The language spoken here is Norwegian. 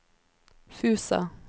Fusa